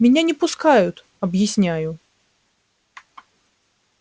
меня не пускают объясняю